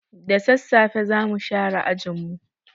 Da sassafe za mu share ajin mu.